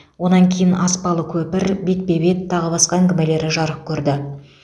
онан кейін аспалы көпір бетпе бет тағы басқа әңгімелері жарық көрді